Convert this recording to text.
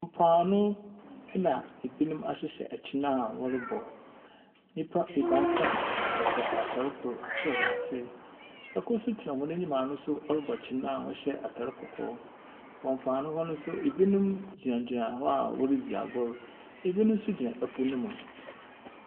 Mpoano na binom ahyehyɛ kyen a wɔrobɔ, nyimpa ebiasa wɔhyɛ atar kor sor na ase, kor so tsena hɔn enyim a no so ɔrobɔ kyen a ɔhyɛ atar kɔkɔɔ. Wɔ mpoano hɔ no so binom gyinagyina hɔ a woridzi agor, binom so gyina po no mu.